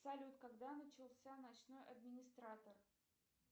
салют когда начался ночной администратор